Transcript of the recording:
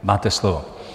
Máte slovo.